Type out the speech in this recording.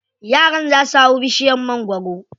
Yaran za su hau bishiyar magwaro.